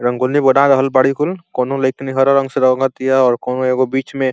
रंगोली बना रहल बाड़ी कुल। कोनो लईकिनी हरा रंग से रंग तिया और कोनो एगो बीच में --